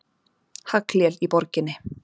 Haglél í borginni